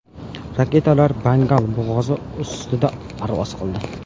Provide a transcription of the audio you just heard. Raketalar Bengal bo‘g‘ozi ustida parvoz qildi.